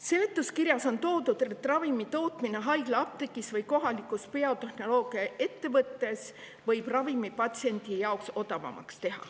Seletuskirjas on toodud, et ravimi tootmine haiglaapteegis või kohalikus biotehnoloogiaettevõttes võib selle patsiendi jaoks odavamaks teha.